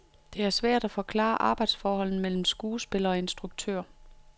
Det er svært at forklare arbejdsforholdet mellem skuespiller og instruktør.